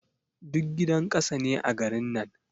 Duk gidan ƙasa ne a garin nan.